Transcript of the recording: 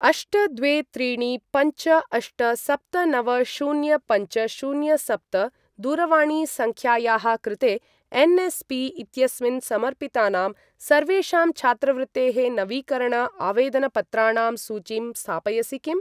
अष्ट द्वे त्रीणि पञ्च अष्ट सप्त नव शून्य पञ्च शून्य सप्त दूरवाणीसङ्ख्यायाः कृते एन्.एस्.पी. इत्यस्मिन् समर्पितानां सर्वेषां छात्रवृत्तेःनवीकरण आवेदनपत्राणां सूचीं स्थापयसि किम्?